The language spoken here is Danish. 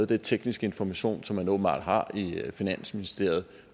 den tekniske information som man åbenbart har i finansministeriet